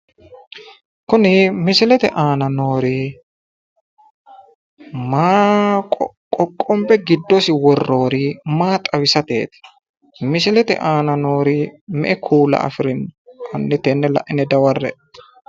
Kuni misilete aana noori maa qoqqonbe giddosi worroyiri maa xawisateeti? Misilete aana noori me"e kuula afirino? Hanni tenne laxine dawarre"e.